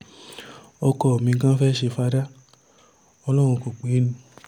ọkọ mi gan-an fẹ́ẹ́ ṣe fada ọlọ́run kó pè é ni